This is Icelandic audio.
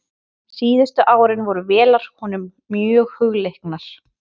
Síðustu árin voru vélar honum mjög hugleiknar.